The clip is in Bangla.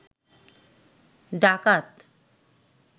ডাকাত